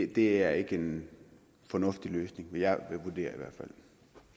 det er ikke en fornuftig løsning vil jeg vurdere